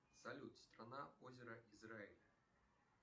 салют страна озера израиль